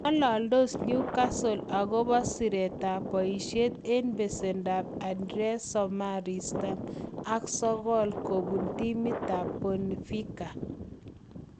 Ng'alandos Newcastle akopa siretap poishet eng' pesendo ap Andreas Samaris, tamn ak sokol, kopun timitap Benfica